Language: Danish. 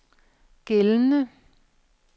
gældende